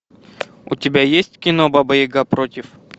у тебя есть кино баба яга против